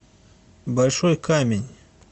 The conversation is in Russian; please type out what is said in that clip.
большой камень